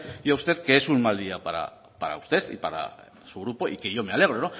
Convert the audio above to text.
yo a usted que es un mal día para usted y para su grupo y que yo me alegro